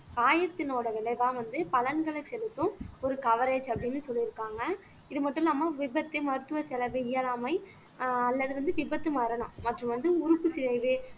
காயத்தினோட விளைவா வந்து பலன்களை செலுத்தும் ஒரு கவேரஜ் அப்படின்னு சொல்லியிருக்காங்க இது மட்டும் இல்லாம விபத்து மருத்துவ செலவு இயலாமை அஹ் அல்லது வந்து விபத்து மரணம் மற்றும் வந்து உறுப்புச்சிதைவு